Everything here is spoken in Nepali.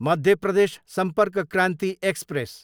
मध्य प्रदेश सम्पर्क क्रान्ति एक्सप्रेस